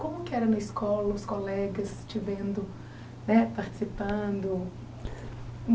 Como que era na escola, os colegas te vendo né participando?